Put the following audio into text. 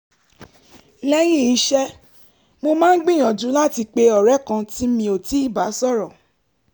lẹ́yìn iṣẹ́ mo máa ń gbìyànjú láti pe ọ̀rẹ́ kan tí mi ò tíì bá sọ̀rọ̀